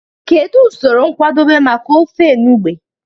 Kedu usoro nkwadebe maka ofe enugbe?